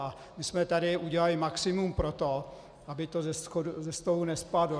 A my jsme tady udělali maximum pro to, aby to ze stolu nespadlo.